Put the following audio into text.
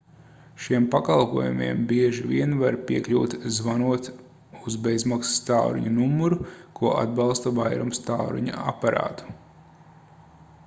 šiem pakalpojumiem bieži vien var piekļūt zvanot uz bezmaksas tālruņa numuru ko atbalsta vairums tālruņa aparātu